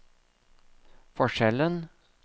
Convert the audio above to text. forskjellen